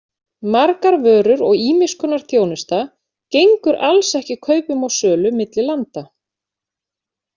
Margar vörur og ýmiss konar þjónusta gengur alls ekki kaupum og sölu milli landa.